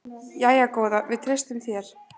Jæja góða, við treystum þér.